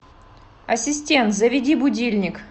ассистент заведи будильник